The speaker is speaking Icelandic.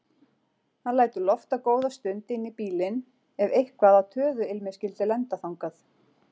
Hann lætur lofta góða stund inn í bílinn ef eitthvað af töðuilmi skyldi lenda þangað.